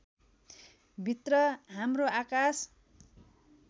भित्र हाम्रो आकाश